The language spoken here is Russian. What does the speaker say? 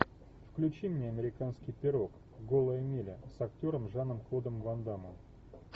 включи мне американский пирог голая миля с актером жаном клодом ван дамом